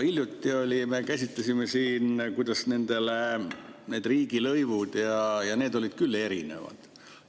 Hiljuti me käsitlesime siin, millised nende riigilõivud on, ja need olid küll erinevad.